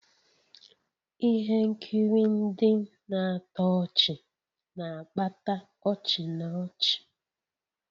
Ihe nkiri ndị na-atọ ọchị na-akpata ọchị na ọchị